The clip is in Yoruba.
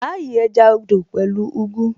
À á yí ẹja odò pẹ̀lú ugu